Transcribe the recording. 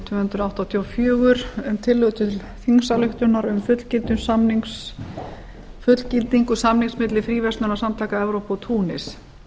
tvö hundruð áttatíu og fjögur um tillögu til þingsályktunar um fullgildingu samnings milli fríverslunarsamtaka evrópu og túnis